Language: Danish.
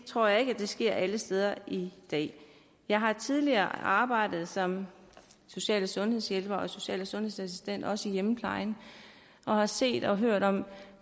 tror ikke det sker alle steder i dag jeg har tidligere arbejdet som social og sundhedshjælper og social og sundhedsassistent også i hjemmeplejen og har set og hørt om